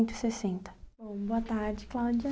sessenta. Boa tarde, Cláudia.